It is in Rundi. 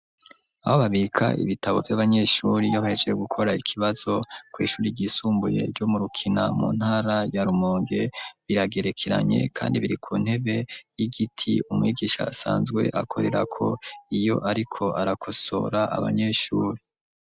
Aho babika ibitabo, vy'abanyeshuri, iyo bahejeje gukora ikibazo, kw'ishuri ryisumbuye, ryo mu Rukina, mu ntara ya Rumonge; biragerekeranye, kandi biri ku ntebe y'igiti, umwigisha asanzwe akorerako, iyo ariko arakosora, abanyeshuri.